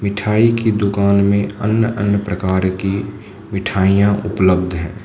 मिठाई की दुकान में अन्य अन्य प्रकार की मिठाइयां उपलब्ध है।